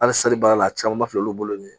Hali sali baara la caman ba filɛ olu bolo nin